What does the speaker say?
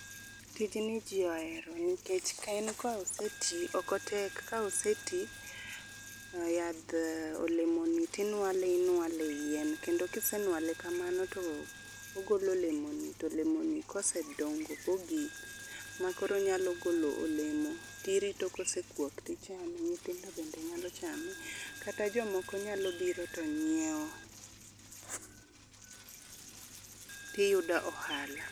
Tijni ji ohero nikech en ka oseti, ok otek. Ka oseti, yadh olemoni tinwale inwale e yien. Kendo kisenwale kamano, to ogolo olemoni to olemoni kosedongo togik ma koro onyalo golo olemo, tirito kosekwok tichame, nyithindo bende nyalo chame, kata jomoko nyalo biro to nyiewo. Tiyudo ohala.